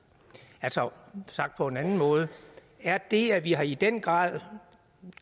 sagt på en anden måde er det at vi i den grad har